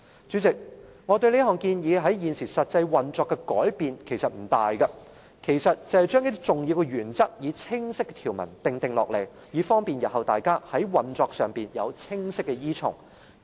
主席，我這項建議對現時實際運作的改變不大，只是將一些重要原則，以清晰條文訂定下來，以便日後大家在運作上有清晰的依從。